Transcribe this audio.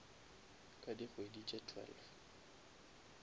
ka dikgwedi tše twelve